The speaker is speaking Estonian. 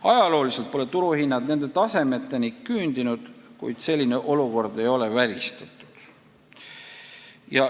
Ajaloo jooksul pole turuhinnad nende tasemeteni küündinud, kuid selline olukord ei ole välistatud.